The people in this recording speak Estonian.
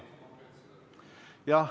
Jah.